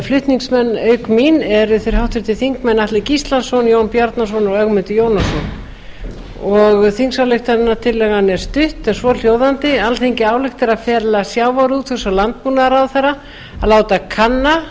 flutningsmenn auk mín eru þeir háttvirtir þingmenn atli gíslason jón bjarnason og ögmundur jónasson þingsályktunartillagan er stutt en svo hljóðandi alþingi ályktar að fela sjávarútvegs og landbúnaðarráðherra að láta kanna